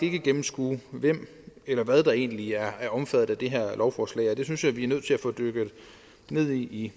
ikke gennemskue hvem eller hvad der egentlig er omfattet af det her lovforslag og det synes jeg vi er nødt til at få dykket ned i i